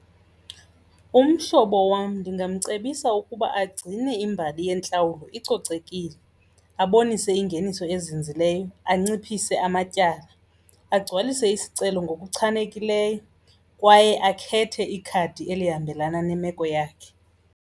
Umhlobo wam ndingamcebisa ukuba agcine imbali yentlawulo icocekile, abonise ingeniso ezinzileyo, anciphise amatyala, agcwalise isicelo ngokuchanekileyo kwaye akhethe ikhadi elihambelana nemeko yakhe.